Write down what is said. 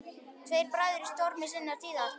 Tveir bræður í stormi sinnar tíðar.